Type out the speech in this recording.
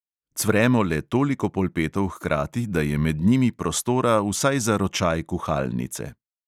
Cvremo le toliko polpetov hkrati, da je med njimi prostora vsaj za ročaj kuhalnice.